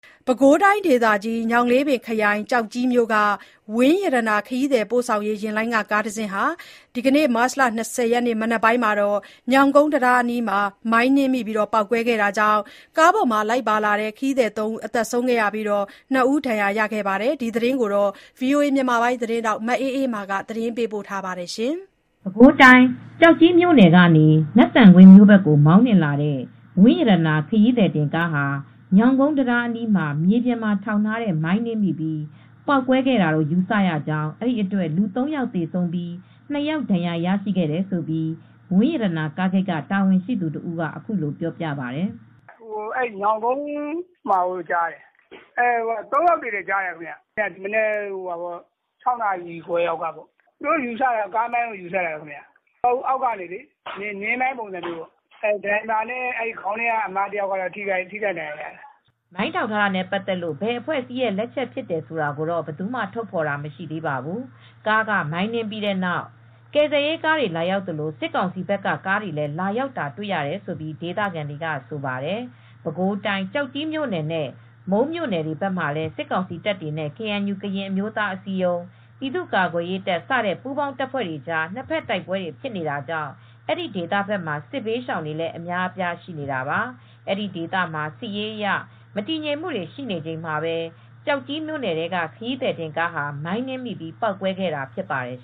ပဲခူးတိုင်းဒေသကြီး၊ ညောင်လေးပင်ခရိုင်၊ ကျောက်ကြီးမြို့ "ဝင်းရတနာ"ခရီးသည်ပိုဆောင်ရေးယာဉ်လိုင်းက ကားတစီးဟာ မတ်လ၂၀ရက်နေ့ ဒီနေ့မနက်ပိုင်းမှာ ညောင်ကုန်းတံတားအနီးမှာ မိုင်းနင်းမိပြီး ပေါက်ကွဲခဲ့တာကြောင့်ကားပေါ်မှာပါလာတဲ့ ခရီးသည် ယောက်သေဆုံးပြီး ၂ယောက်က တော့ဒဏ်ရာတွေရခဲ့ပါတယ်။ ဒီသတင်းကိုဗွီအိုအေသတင်းထောက်မအေးအေးမာက သတင်းပေးပို့ထားပါတယ်။ ပဲခူးတိုင်းကျောက်ကြီးမြို့ကနေ နတ်သံကွင်း မြို့ဘက်ကို မောင်းနှင်လာတဲ့ ဝင်းရတနာခရီးသည်တင်ကားဟာ ညောင်းကုန်းတံတားအနီးမှာ မြေပြင်မှာထောင်ထားတဲ့ မိုင်းနင်းမိပြီး ပေါက်ကွဲခဲ့တာ ယူဆရကြောင်း ဒီအတွက် လူ ၃ယောက် သေဆုံးပြီး ၂ယောက် ဒဏ်ရာရခဲ့တယ်လို့ ဝင်းရတနာကားဂိတ်က တာဝန်ရှိသူတဦးကအခုလိုပြောပြပါတယ်။ "ညောင်ကုန်းမှာလို့ကြားပါတယ်၊ ၃ယောက်သေတယ်ကြားပါတယ်။ မနက် ၆နာရီခွဲလောက်ကပေါ့ ကျွန်တော်တို့ယူဆတာကတော့ ကားမိုင်းယူဆတယ် အောက်ကနေ နင်းမိုင်းပုံစံပေါ့ ဒါရိုက်ဘာနဲ့ ခေါင်းခန်းက အမတယောက်ကတော့ထိခိုက်ဒဏ်ရာရပါတယ်။" မိုင်းထောင်ထားတာနဲ့ပတ်သက်လို့ ဘယ်အဖွဲ့အစည်းတွေရဲ့လက်ချက်ဖြစ်တယ်ဆိုတာကိုတော့ ဘယ်သူမှထုတ်ဖော်ပြောဆိုတာ မရှိသေးပါဘူး။ ကားကမိုင်းနင်းမိပြီးတဲ့နောက် ကယ်ဆယ်ရေးကားတွေလာရောက်သလို စစ်ကောင်စီဘက်က ကားတွေလည်း လာရောက်တာတွေ့ရတယ်လို့ဒေသခံတွေက ဆိုပါတယ်။ ပဲခူးတိုင်း ကျောက်ကြီးမြို့နယ်နဲ့မုန်းမြို့နယ်တွေလည်း စစ်ကောင်စီတပ်တွေနဲ့ ကေအန်ယူ ကရင်အမျိုးသားအစည်းအရုံး ပြည်သူ့ကာကွယ်ရေးတပ်ဖွဲစတဲ့ ပူးပေါင်းတပ်ဖွဲ့တွေ ကြားနှစ်ဖက်တိုက်ပွဲတွေရှိနေတာကြောင့် အဲဒီဒေသမှာစစ်ဘေးရှောင်တွေလည်း အများအပြားရှိနေတာပါ။ အဲဒီဒေသမှာစစ်ရေးအရ မတည်ငြိမ်မူရှိနေချိန်မှာပဲ ကျောက်ကြီးမြို့နယ်ထဲက ခရီးသည်ကားဟာ မိုင်းနင်းမိပြီးပေါက်ကွဲခဲ့တာဖြစ်ပါတယ်